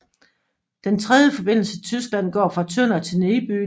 Den tredje forbindelse til Tyskland går fra Tønder til Niebüll